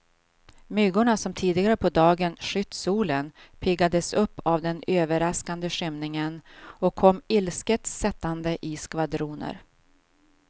Myggorna som tidigare på dagen skytt solen, piggades upp av den överraskande skymningen och kom ilsket sättande i skvadroner.